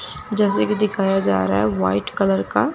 जैसे कि दिखाया जा रहा है वाइट कलर का--